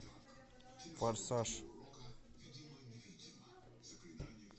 форсаж